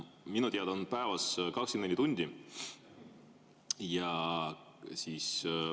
Minu teada on päevas 24 tundi.